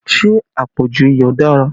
Ṣé àpọ̀jù iyọ̀ dára?